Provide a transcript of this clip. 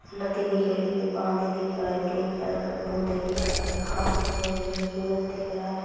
नदी दिख रही है| पानी दिख रहा है| ग्रीन कलर के पौधे देख रहे हैं| घास दिख रही है| सूरज दिख रहा है।